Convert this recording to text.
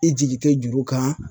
I jigi te juru kan